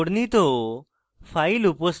file উপস্থিত